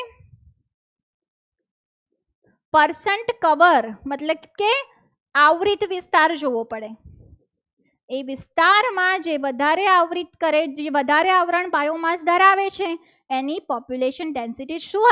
Persant cover મતલબ કે આવ્રિત વિસ્તાર જોવો પડે એ વિસ્તારમાં જે બધા રહ્યા આવ્રત કરે વધારે આવરણ બાજુમાં ધરાવે છે. એની population definition શું?